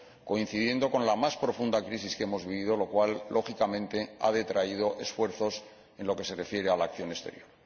coincidiendo con la más profunda crisis que hemos vivido, lo cual, lógicamente, ha detraído esfuerzos en lo que se refiere a la acción exterior.